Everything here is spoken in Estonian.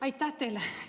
Aitäh teile!